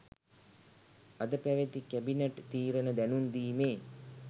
අද පැවති කැබිනට් තීරණ දැනුම්දීමේ